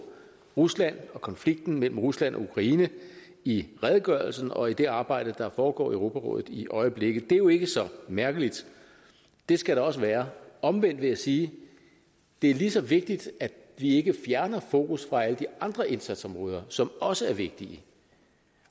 rusland og konflikten mellem rusland og ukraine i redegørelsen og i det arbejde der foregår i europarådet i øjeblikket det er jo ikke så mærkeligt det skal der også være omvendt vil jeg sige at det er lige så vigtigt at vi ikke fjerner fokus fra alle de andre indsatsområder som også er vigtige